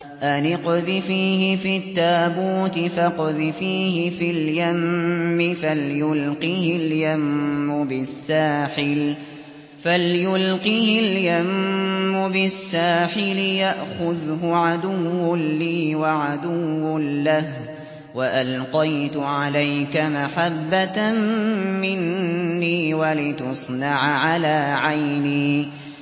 أَنِ اقْذِفِيهِ فِي التَّابُوتِ فَاقْذِفِيهِ فِي الْيَمِّ فَلْيُلْقِهِ الْيَمُّ بِالسَّاحِلِ يَأْخُذْهُ عَدُوٌّ لِّي وَعَدُوٌّ لَّهُ ۚ وَأَلْقَيْتُ عَلَيْكَ مَحَبَّةً مِّنِّي وَلِتُصْنَعَ عَلَىٰ عَيْنِي